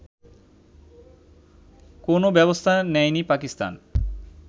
কোনও ব্যবস্থা নেয়নি পাকিস্তান